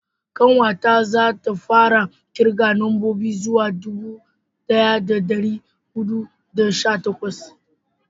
ƙanwa ta za ta fara kirga nambobi zuwa dubu daya da dari hudu da sha takwas